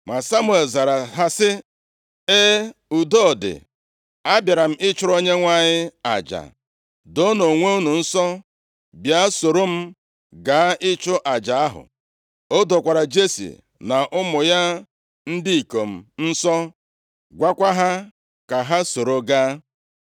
Ma Samuel zara ha sị “E, udo dị, Abịara m ịchụrụ Onyenwe anyị aja. Doonụ onwe unu nsọ bịa soro m gaa ịchụ aja ahụ.” O dokwara Jesi na ụmụ ya ndị ikom nsọ, gwakwa ha ka ha soro gaa.